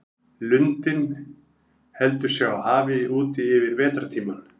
Lundinn heldur sig á hafi úti yfir vetrartímann.